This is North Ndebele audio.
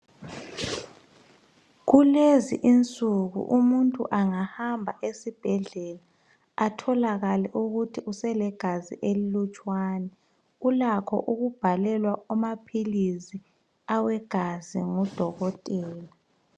Kulezi insuku umuntu angahamba esibhedlela atholakale okuthi uselegazi elutshwana kulakho ukubhalwelwa amaphilisi awegazi ngodokotela